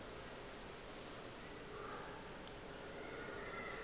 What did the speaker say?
ya gagwe e be e